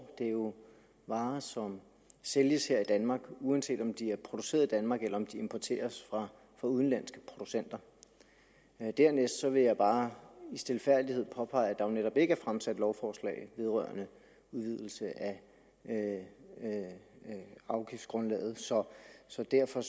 det er jo varer som sælges her i danmark uanset om de er produceret i danmark eller importeres fra udenlandske producenter dernæst vil jeg bare i stilfærdighed påpege at der jo netop ikke er fremsat lovforslag vedrørende udvidelse af afgiftsgrundlaget så så derfor